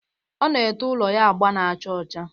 Ọ na-ete ụlọ ya agba na-acha ọcha